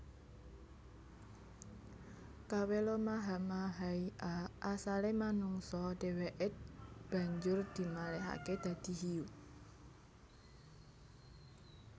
Kawelomahamahai a Asalé manungsa dhèwèké banjur dimalihaké dadi hiyu